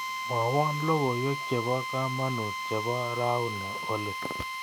Mwawon logoywek chebo kamanuut chebo rauni oli